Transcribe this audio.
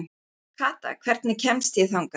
Kata, hvernig kemst ég þangað?